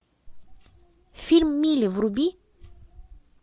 фильм мили вруби